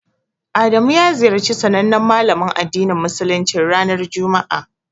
Adamu ya ziyarci sanannen Malamin addinin Musuluncin, ranar juma'a.